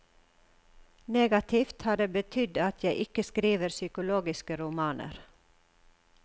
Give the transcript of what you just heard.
Negativt har det betydd at jeg ikke skriver psykologiske romaner.